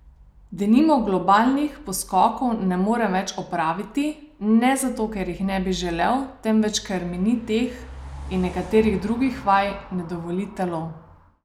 Denimo globinskih poskokov ne morem več opraviti, ne zato, ker jih ne bi želel, temveč ker mi teh in nekaterih drugih vaj ne dovoli telo.